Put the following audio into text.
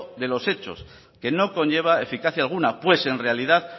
de los hechos que no conlleva eficacia alguna pues en realidad